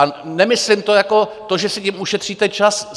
A nemyslím to jako to, že si tím ušetříte čas.